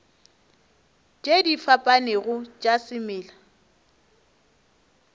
tše di fapanego tša semela